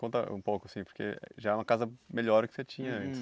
conta um pouco assim porque já é uma casa melhor do que você tinha antes